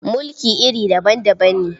Mulki iri daban-daban ne.